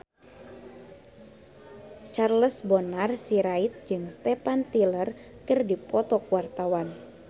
Charles Bonar Sirait jeung Steven Tyler keur dipoto ku wartawan